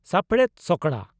ᱥᱟᱯᱲᱮᱛ ᱥᱚᱠᱲᱟ